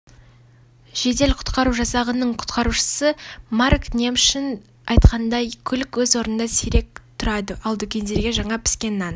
жедел-құтқару жасағының құтқарушысы марк немшон айтқандай көлік өз орнында сирек тұрады ал дүкендерге жаңа піскен нан